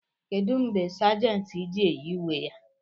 kedu mgbe Sàgèntị ji-eyi uwe ya